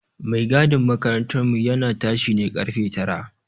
Mai gadin makarantar mu ya na tashi ne ƙarfe tara